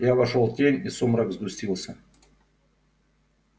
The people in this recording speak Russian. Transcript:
я вошёл в тень и сумрак сгустился